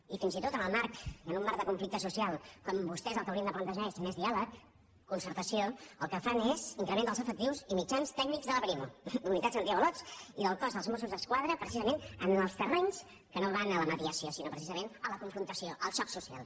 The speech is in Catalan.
i fins i tot en un marc de conflicte social quan vostès el que haurien de plantejar és més diàleg concertació el que fan és increment dels efectius i mitjans tècnics de la brimo unitats antiavalots i del cos dels mossos d’esquadra precisament en els terrenys que no van a la mediació sinó precisament a la confrontació al xoc social